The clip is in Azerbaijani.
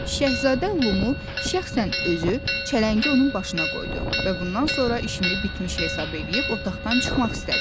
Şəhzadə Lumu şəxsən özü çələngi onun başına qoydu və bundan sonra işini bitmiş hesab eləyib otaqdan çıxmaq istədi.